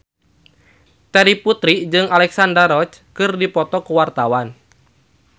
Terry Putri jeung Alexandra Roach keur dipoto ku wartawan